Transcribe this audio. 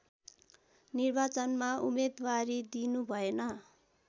निर्वाचनमा उम्मेदवारी दिनुभएन